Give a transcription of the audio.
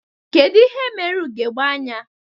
Kedu ihe mere ugogbe anya